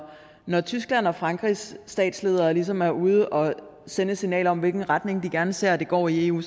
når tysklands og frankrigs statsledere ligesom er ude og sende et signal om hvilken retning de gerne ser at det går i eu